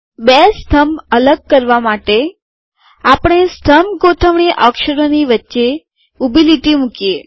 બે સ્તંભ અલગ કરવા માટે આપણે સ્તંભ ગોઠવણી અક્ષરોની વચ્ચે ઊભી લીટી મુકીએ